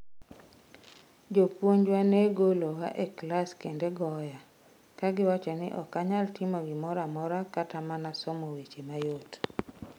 Jopuonjwa ne golowa e klas kendo goya, ka giwacho ni ok anyal timo gimoro amora kata mana somo weche mayot.